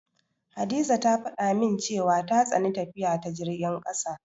Hadiza ta faɗa min cewa ta tsani tafiya ta jirgin ƙasa.